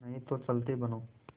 नहीं तो चलते बनो